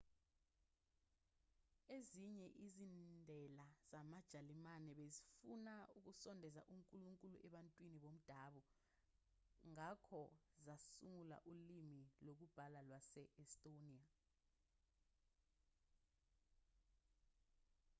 ezinye izindela zamajalimane bezifuna ukusondeza unkulunkulu ebantwini bomdabu ngakho zasungula ulimi lokubhala lwase-estonia